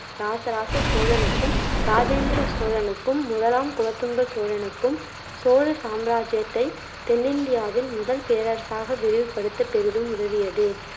இராசராச சோழனுக்கும், இராஜேந்திர சோழனுக்கும், முதலாம் குலோத்துங்க சோழனுக்கும் சோழ சாம்ராஜ்ஜியத்தை தென்னிந்தியாவின் முதல் பேரரசாக விரிவுபடுத்த பெரிதும் உதவியது.